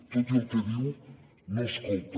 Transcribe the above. tot i el que diu no escolta